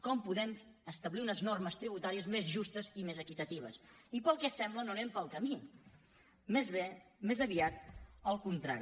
com podem establir unes normes tributàries més justes i més equitatives i pel que sembla no anem pel camí més aviat el contrari